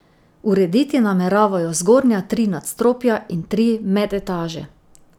Urediti nameravajo zgornja tri nadstropja in tri medetaže.